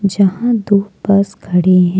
यहां दो बस खड़े है।